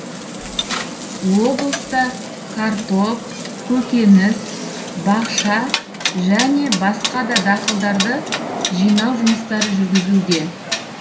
облыста картоп көкеніс бақша және басқа да дақылдарды жинау жұмыстары жүргізілуде